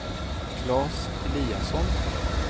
Klas Eliasson